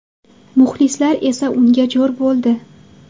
Muxlislar esa unga jo‘r bo‘ldi.